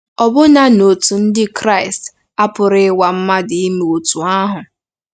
Ọbụna n'òtù Ndị Kraịst, a pụrụ ịnwa mmadụ ime otú ahụ.